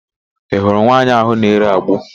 Ị hụrụ nwaanyị áhụ̀ na-ere agbo?